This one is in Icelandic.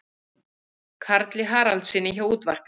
Karli Haraldssyni frá útvarpinu.